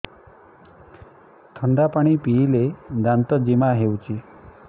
ଥଣ୍ଡା ପାଣି ପିଇଲେ ଦାନ୍ତ ଜିମା ହଉଚି